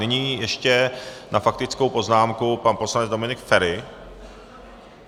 Nyní ještě na faktickou poznámku pan poslanec Dominik Feri.